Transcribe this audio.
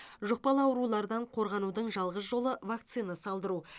жұқпалы аурулардан қорғанудың жалғыз жолы вакцина салдыру